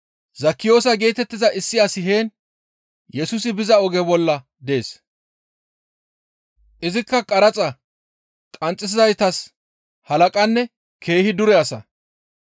Zekkiyoosa geetettiza issi asi heen Yesusi biza oge bolla dees. Izikka qaraxa qanxxisizaytas halaqanne keehi dure asa.